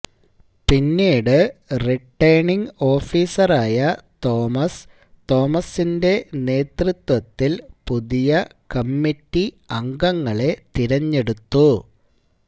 പിന്നീട് റിട്ടേണിംഗ് ഓഫീസറായ തോമസ് തോമസിന്റെ നേതൃത്വത്തില് പുതിയ കമ്മറ്റി അംഗങ്ങളെ തിരെഞ്ഞെടുത്തു